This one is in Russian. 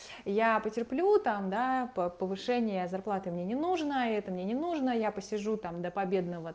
я потерплю там да повышения зарплаты мне не нужно это мне не нужна я посижу там до победного